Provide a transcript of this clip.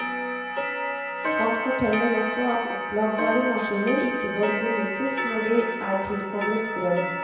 Han forteller også at oppladbare maskiner ikke bør benyttes når de er tilkoblet strøm.